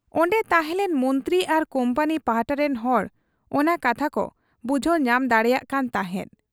ᱚᱱᱰᱮ ᱛᱟᱷᱮᱸᱞᱮᱱ ᱢᱚᱱᱛᱨᱤ ᱟᱨ ᱠᱩᱢᱯᱟᱱᱤ ᱯᱟᱦᱴᱟ ᱨᱤᱱ ᱦᱚᱲ ᱚᱱᱟ ᱠᱟᱛᱷᱟ ᱠᱚ ᱵᱩᱡᱷᱟᱹᱣ ᱧᱟᱢ ᱫᱟᱲᱮᱭᱟᱜ ᱠᱟᱱ ᱛᱟᱦᱮᱸᱫ ᱾